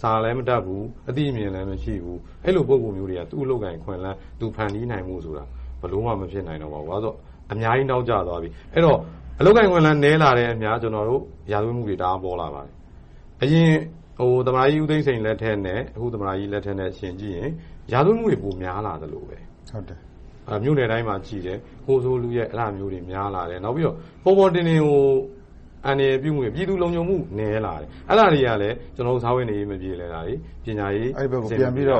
စာလည်မတတ်ဘူး။ အသိအမြင်လည်း မရှိဘူး။ အဲဒီလို ပုဂ္ဂိုလ်မျိုးတွေက သူ့အလုပ်အကိုင် အခွင့်အလမ်း ဖန်တီးဖို့ဆိုတာ ဘယ်လိုမှ မဖြစ်နိုင်တော့ဘူး။ ဘာဖြစ်လို့လဲဆိုတော့ အများကြီး နောက်ကျသွားပြီ။ အဲဒီတော့ အလုပ်အကိုင် အခွင့်အလမ်း နည်းလာတာနဲ့အမျှ ရာဇဝတ်မှုတွေ တအားပေါလာပါတယ်။ အရင် သမ္မတကြီး ဦးသိန်းစိန်လက်ထက်နဲ့ အခုသမ္မတကြီးလက်ထက် ယှဉ်ကြည့်ရင် ရာဇဝတ်မှုတွေ ပိုများလာသလိုပဲ။ မြို့နယ်တိုင်းမှာ ခိုးဆိုးလုယက် အဲဒါမျိုးတွေ များလာတယ်။ နောက်ပြီးတော့ ပေါ်ပေါ်တင်တင်ကို အန္တရာယ်ပြုမှုတွေ၊ ပြည်သူလုံခြုံမှုတွေ နည်းလာတယ်။ အဲဒါတွေကလဲ စားဝတ်နေရေး မပြေလည်တာတွေ၊ ပညာရေးဘက်ကို ပြန်ပြီးတော